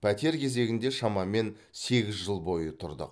пәтер кезегінде шамамен сегіз жыл бойы тұрдық